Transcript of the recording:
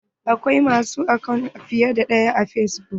Akwai ma su akant fiye da ɗaya a fesbuk.